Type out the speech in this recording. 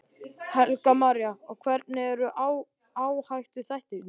Helga María: Og hverjir eru áhættuþættirnir?